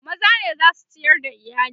maza ne zasu ciyar da iyali